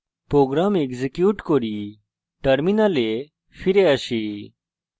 program execute করি terminal ফিরে আসি